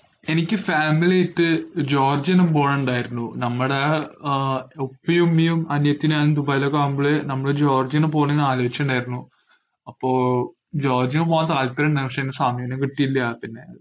എനിക്ക് family ആയിട്ട് Georgia ഒന്ന് പോണംണ്ടായിരുന്നു. നമ്മടെ ആഹ് ഉപ്പയും ഉമ്മയും അനിയത്തിയും നാനും ദുബായിലൊക്കെ ആവുമ്പോള് നമ്മള് ജോർജിയ ഒന്ന് പോണെന്ന് ആലോചിച്ചിട്ട്ണ്ടായിരുന്നു അപ്പോ ജോർജിയ പോവാൻ താല്പര്യയിണ്ടായിരുന്നു, പക്ഷേ അയിന് സമയൊന്നും കിട്ടീല പിന്നെ